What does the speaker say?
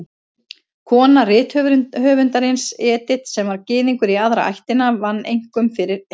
Kona rithöfundarins, Edith, sem var Gyðingur í aðra ættina, vann einkum fyrir heimilinu.